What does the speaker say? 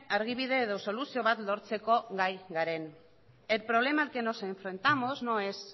argibide edo soluzio bat lortzeko gai garen el problema al que nos enfrentamos no es